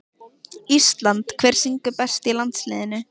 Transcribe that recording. ÍSLAND Hver syngur best í landsliðinu?